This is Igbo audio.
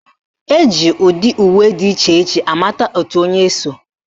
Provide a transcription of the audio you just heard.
Eji ụdị uwe dị iche iche amata òtù onye so